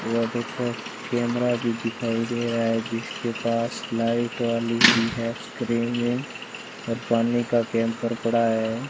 वो देखो कैमरा भी दिखाई दे रहा है जिसके पास लाइट वाली भी है स्क्रीनिंग और पानी का कैंपर पड़ा है।